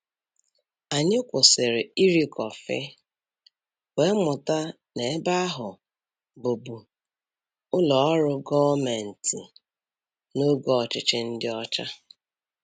Anyị kwụsịrị iri kọfị, wee mụta na ebe ahụ bụbu ụlọ ọrụ gọọmenti n'oge ọchịchị ndị ọcha.